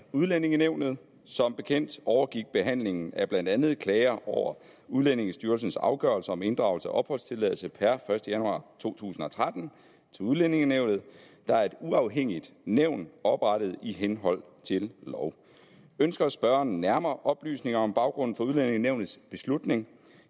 udlændingenævnet som bekendt overgik behandlingen af blandt andet klager over udlændingestyrelsens afgørelser om inddragelse af opholdstilladelse per første januar to tusind og tretten til udlændingenævnet der er et uafhængigt nævn oprettet i henhold til lov ønsker spørgeren nærmere oplysninger om baggrunden for udlændingenævnets beslutning